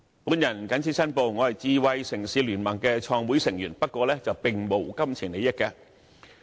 我謹此申報，我是香港智慧城市聯盟的創會成員，不過，並沒有金錢利益。